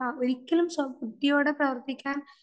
ഒരിക്കലും സ്വബുദ്ധിയോടെ പ്രവർത്തിക്കാൻ